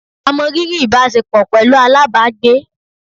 A mọ riri ìbáṣepọ̀ pẹlú alábàágbé